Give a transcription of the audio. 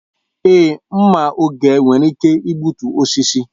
Èé, mma oge nwere ike igbutu osisi.